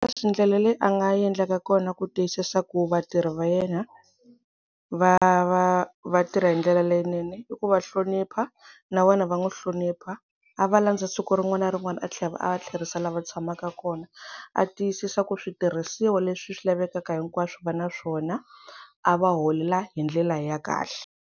Leswi ndlela leyi a nga endleka kona ku tiyisisa ku vatirhi va yena va va va tirha hi ndlela leyinene i ku va hlonipha na vona va n'wi hlonipha a va landza siku rin'wana na rin'wana a tlhela a va tlherisa la va tshamaka kona, a tiyisisa ku switirhisiwa leswi swi lavekaka hinkwaswo va na swona, a va holela hi ndlela ya kahle.